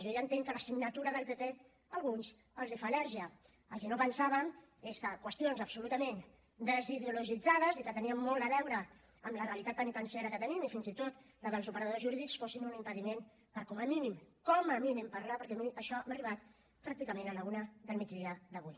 jo ja entenc que la signatura del pp a alguns els fa al·lèrgia el que no pensàvem és que qüestions absolutament desideologitzades i que tenien molt a veure amb la realitat penitenciària que tenim i fins i tot la dels operadors jurídics fossin un impediment per com a mínim com a mínim parlar ne perquè a mi això m’ha arribat pràcticament a la una del migdia d’avui